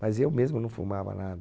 mas eu mesmo não fumava nada.